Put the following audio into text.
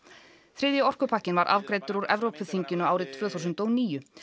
þriðji orkupakkinn var afgreiddur úr Evrópuþinginu árið tvö þúsund og níu